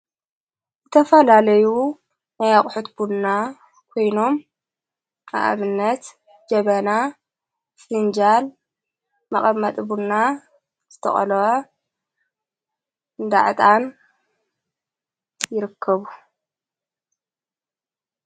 እተፋላለዩ ነያቕሑትቡና ኮይኖም ኣኣብነት ጀበና ስንጃል መቐመጥቡና ዝተቐሎ ዳዕጣን ይርከቡ።